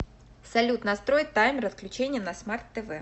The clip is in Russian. салют настрой таймер отключения на смарт тв